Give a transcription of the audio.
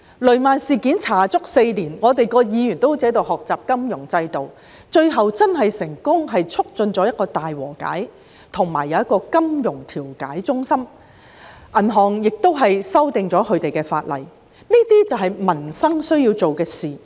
雷曼事件的調查歷時足足4年，各議員便彷如學習金融制度般，最後成功促進大和解，並成立金融糾紛調解中心，亦修訂了與銀行業相關的法例，這才是我們需要為民生做的事情。